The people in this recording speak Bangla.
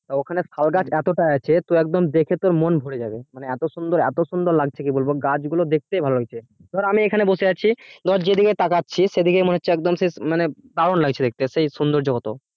তো ওখানে শাল গাছ এতটা আছে তোর একদম দেখে তোর মন ভরে যাবে মানে এত সুন্দর এত সুন্দর লাগছে কি বলবো গাছগুলো দেখতেই ভালো লাগছে ধর আমি এখানে বসে আছি ধর যেদিকে তাকাচ্ছি সেদিকে মনে হচ্ছে একদম সে মানে দারুন লাগছে দেখতে, সে সৌন্দর্য কত